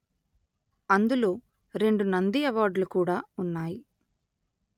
అందులో రెండు నంది అవార్డులు కూడా ఉన్నాయి